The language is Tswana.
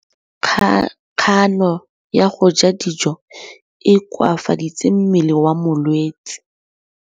Kganô ya go ja dijo e koafaditse mmele wa molwetse.